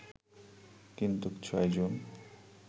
কিন্তু ৬ জুন